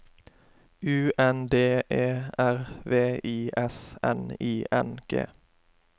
U N D E R V I S N I N G